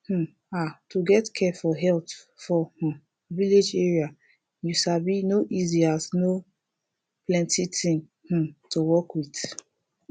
um ah to get care for health for um village area you sabi no easy as no plenti thing um to work with